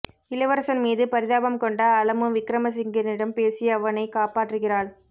இளவரசன் மீது பரிதாபம் கொண்ட அலமு விக்ரமசிங்கனிடம் பேசி அவனை காப்பாற்றுகிறாள்